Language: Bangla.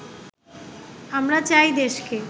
আমরা চাই দেশকে